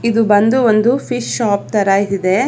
ಇದು ಬಂದು ಒಂದು ಫಿಶ್ ಶಾಪ್ ತರ ಇದೆ.